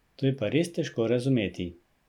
To je pa res težko razumeti.